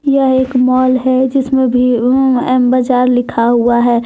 यह एक माल है जिसमें एम बाजार लिखा हुआ है।